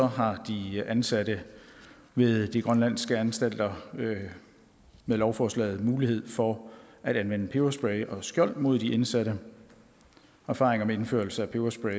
har de ansatte ved de grønlandske anstalter med lovforslaget mulighed for at anvende peberspray og skjold mod de indsatte erfaringer med indførelse af peberspray